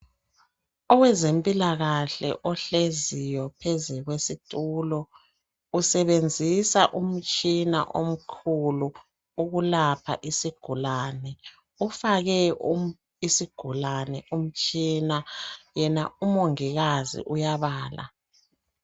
Owezempilakahle ohleziyo phezu kwesitulo usebenzisa umtshina omkhulu ukulapha isigulane. Ufake isigulane umtshina. Yena umongikazi uyabala.